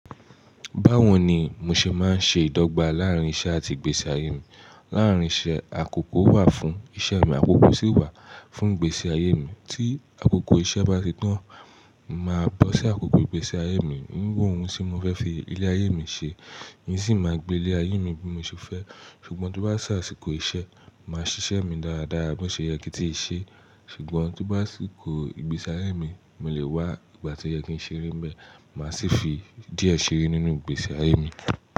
Báwo ni mo ṣe máa ń ṣe ìdọ́gba láàrín iṣẹ́ àti ìgbésí ayé mi? Láàrín iṣẹ́ àkókò wà fún iṣẹ́ mi, àkókò sì wà fún ìgbésí ayé mi. Tí àkókò iṣẹ́ bá ti tán, màá bọ́ sí àkókò ìgbésí ayé mi, wíwo ohun tí mo fẹ́ fi ilé ayé mi ṣe. Èmi sì máa gbé ilé ayé mi bí mo ṣe fẹ́. Ṣùgbọ́n tó bá ṣe àsìkò iṣẹ́, mà ṣiṣẹ́ mi dáradára bó ṣe yẹ kin ti ṣe. Ṣùgbọ́n tí bá síkò ìgbésí ayé mi, mo lè wá ìgbà tí ó yẹ kí n ṣeré ń bẹ, màá sì fi díẹ̀ ṣeré nínú ìgbésí ayé mi.